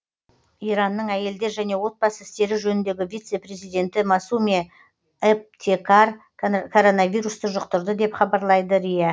иранның әйелдер және отбасы істері жөніндегі вице президенті масуме эбтекар коронавирусты жұқтырды деп хабарлайды риа